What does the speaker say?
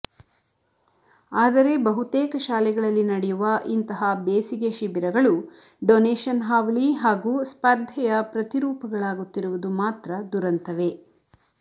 ಆದರೆ ಬಹುತೇಕ ಶಾಲೆಗಳಲ್ಲಿ ನಡೆಯುವ ಇಂತಹ ಬೇಸಿಗೆ ಶಿಬಿರಗಳು ಡೊನೇಶನ್ ಹಾವಳಿ ಹಾಗೂ ಸ್ಪಧರ್ೆಯ ಪ್ರತಿರೂಪಗಳಾಗುತ್ತಿರುವುದು ಮಾತ್ರ ದುರಂತವೇ